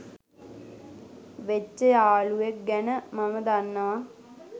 වෙච්ච යාලුවෙක් ගැන මම දන්නවා.